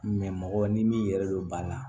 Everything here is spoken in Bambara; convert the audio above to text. mɔgɔ ni yɛrɛ don ba la